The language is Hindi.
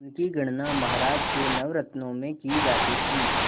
उनकी गणना महाराज के नवरत्नों में की जाती थी